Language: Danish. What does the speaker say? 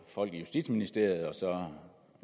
folk i justitsministeriet og